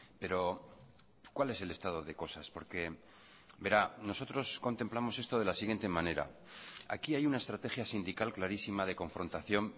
pero cuál es el estado de cosas porque verá nosotros contemplamos esto de la siguiente manera aquí hay una estrategia sindical clarísima de confrontación